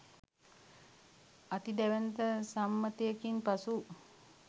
අති දැවැන්ත සම්මතයකින් පසු